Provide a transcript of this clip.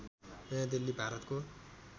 नयाँ दिल्ली भारतको